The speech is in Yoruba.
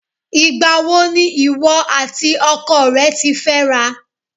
Ìgbà wo ni ìwọ àti ọkọ rẹ ti fẹ́ra?